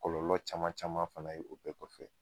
Kɔlɔlɔ caman caman fana ye o bɛɛ kɔfɛ